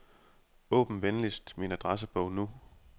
Åbn venligst min adressebog nu.